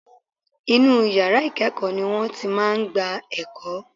Inú yàrá ìkẹ́ẹ̀kọ́ ni wọ́n ti máa gba ẹ̀kọ́.